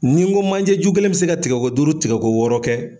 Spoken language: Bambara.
Ni n ko manje ju kelen mi se ka tigɛ ko duuru tigɛ ko wɔɔrɔ kɛ